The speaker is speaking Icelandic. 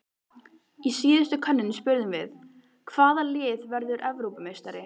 Í síðustu könnun spurðum við- Hvaða lið verður Evrópumeistari?